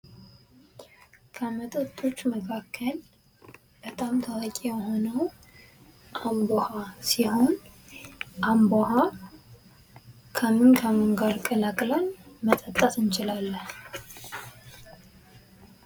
ከመጠጦች መካከል በጣም ታዋቂ የሆነው አምቦ ውሃ ሲሆን እምቢ ውሃ ከምን ከምን ጋር ቀላቅለን መጠጣት እንችላለን?